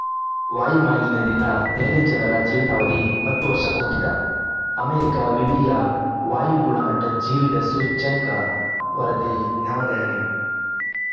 ವಾಯು ಮಾಲಿನ್ಯದಿಂದ ದೆಹಲಿ ಜನರ ಜೀವಿತಾವಧಿ ಹತ್ತು ವರ್ಷ ಕುಂಠಿತ ಅಮೆರಿಕ ವಿವಿಯ ವಾಯು ಗುಣಮಟ್ಟಜೀವಿತ ಸೂಚ್ಯಂಕ ವರದಿ ನವದೆಹಲಿ